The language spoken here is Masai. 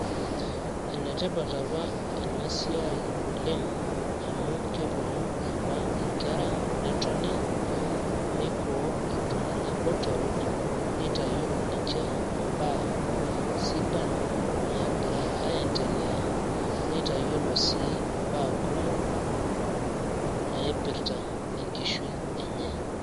Enetipat apa enasiai oleng' amu keponu apa inkera netoni, meikoo iltung'anak botorok, nitayiolo ninche imbaa sidan nagira aiendelea. Neitayiolo sii imbaa kumok naipirta enkishui enye.